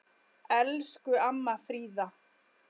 Elsku amma Fríða.